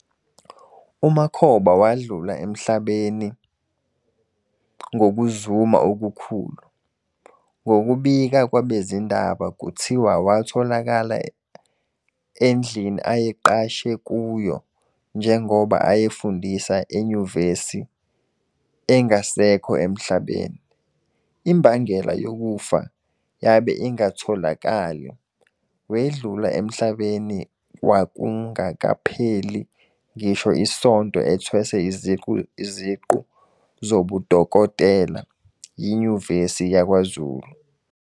UMakhoba wadlula emhlabnei ngokuzuma okukhulu, ngokubika kwabezindaba kuthiwa watholakala andlini ayeqashe kuyo njongoba ayefundisa enyivesi engasekho emhlabeni. Imbangela yokufa yanbe ingatholakali, wedlula emhlabeni kwakungakapheli ngisho isonto ethweswe iziqu zobudokotela yiNyuvesi yakwaZulu.